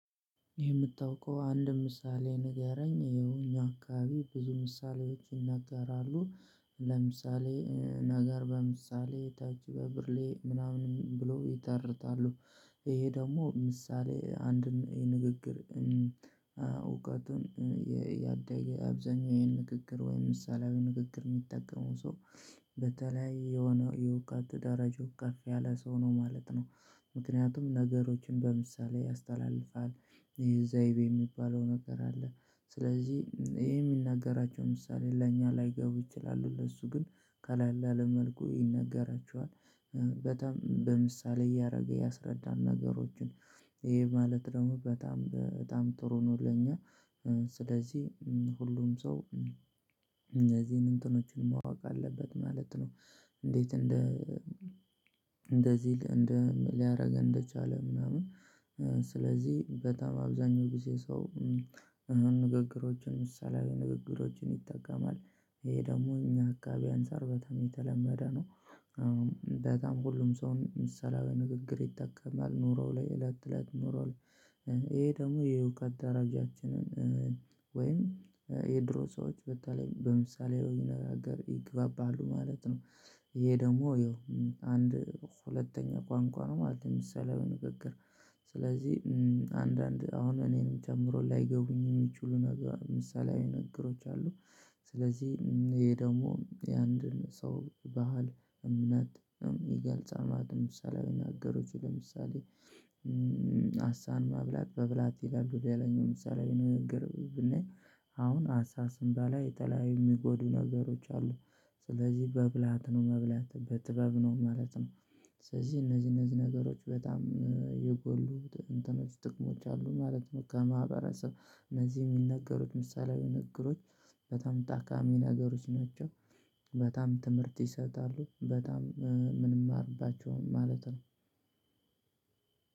የምታውቀው አንድ ምሳሌ ንገረኝር ይሄው እኛ አካባቢ ብዙ ምሳሌዎች ይነጋራሉ ለምሳሌ ነገር በምሳሌ ጠጅ ብርሌ ምናምንም ብለው ይተርታሉ። ይሄ ደግሞ ምሳሌ አንድን የንግግር እውቀቱን የአብዛኛው አብዛኛው ይሄን ንግግር ወይም ምሳሌያዊ ንግግር የሚጠቀመው ሰው በተለያየ የሆነ የውቃት ደረጃ ከፍ ያለ ሰው ነው ማለት ነው። ምክንያቱም ነገሮችን በምሳሌ ያስተላልፋል። ዘይቤ የሚባለው ነገር አለ ስለዚህ ይሄ የሚናገራቸው ምሳሌ ለእኛ ላይገቡ ይችላሉ ለሱ ግን ቀላለ ባለ መልኩ ይነገራችኋል። በምሳሌ እያደረገ ያስረዳን ነገሮችን ይሄ ማለት ደግሞ በጣም በጣም ጥሩ ነው ለኛ። ስለዚህ ሁሉም ሰው እነዚህን እንትኖችን ማወቅ አለበት ማለት ነው። እንዴት እንደ እንደዚህ ሊያደርገው እንደቻለ ምናምን። ስለዚህ በጣም አብዛኛውን ጊዜ ሰው ንግግሮችን ምሳሌያዊ ንግግሮችን ይጠቀማል። ይሄ ደግሞ እኛ አካባቢ አንፃር በጣም የተለመደ ነው። በጣም ሁሉም ሰው ምሳሌያዊ ንግግር ይጠቀማል ኑሮ ላይ እለት እለት ኑሮው። ይሄ ደግሞ የእውቀት ደረጃችንን ወይም የድሮ ሰዎች በተለይ በምሳሌ አነጋገር ይግባባሉ ማለት ነው። ይሄ ደግሞ ይኸው አንድ ሁለተኛ ቋንቋ ነው ማለት ምሳሌያዊ ንግግር። ስለዚህ አንዳንድ አሁን እኔንም ጨምሮ ላይገቡኝ የሚችሉ ነገር ምሳሌ ንግግሮች አሉ። ስለዚህ ይሄ ደግሞ የአንድን ሰው ባህል እምነት ይገልጻል ማለት ነው። ምሳሌ ንግግሩ ለምሳሌ አሳን መብላት በብለሀት ይላሉ ወደ ያለኝው ምሳሌ ነገር ብናይ አሁን አሳ ስንበላ የተለያዩ የሚጎዱ ነገሮች አሉ። ስለዚህ በብለሀት ነው መብላት በጥበብ ነው ማለት ነው። ስለዚህ እነዚህ እነዚህ ነገሮች በጣም የጎሉ እንትኖች ጥቅሞች አሉ ማለት ነው። ከማህበረሰብ እነዚህ የሚነገሩት ምሳሌያዊ ንግግሮች በጣም ጠቃሚ ነገሮች ናቸው። በጣም ትምህርት ይሰጣሉ በጣም ምንም አርባቸውም ማለት ነው።